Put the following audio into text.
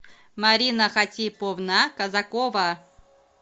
марина хатиповна казакова